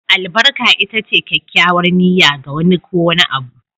Albarka ita ce kyakkyawar niyya, ga wani ko wani abu